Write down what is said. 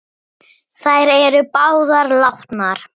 Á hjólum léleg græja.